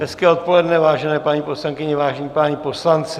Hezké odpoledne, vážené paní poslankyně, vážení páni poslanci.